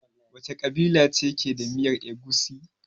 Wace kabila ce ke da miyar Egusi?